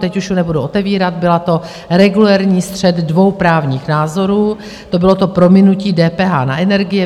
Teď už ji nebudu otevírat, byl to regulérní střet dvou právních názorů, to bylo to prominutí DPH na energie.